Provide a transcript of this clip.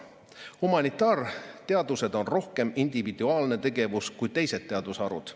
Humanitaarteadused on rohkem individuaalne tegevus kui teised teadusharud.